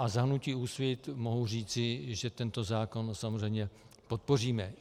Za hnutí Úsvit mohu říci, že tento zákon samozřejmě podpoříme.